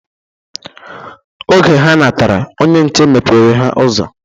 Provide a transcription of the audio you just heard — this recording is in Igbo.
Oge ha natara, onye nche mepere ha ụzọ.